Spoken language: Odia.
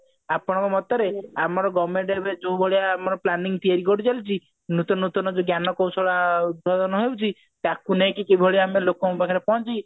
ଆପଣଙ୍କ ମତରେ ଆମର government ଏବେ ଯୋଉଭଳିଆ planning ତିଆରି କରିଚାଲିଛି ନୂତନ ନୂତନ ଯୋଉ ଜ୍ଞାନ କୌଶଳ ଉଦ୍ଭାବନ ହଉଛି ତାକୁ ନେଇକି କିଭଳି ଆମେ ଲୋକଙ୍କ ପାଖରେ ପହଞ୍ଚି